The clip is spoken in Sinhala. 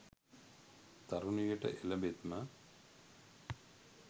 තරුණ වියට එළඹෙත්ම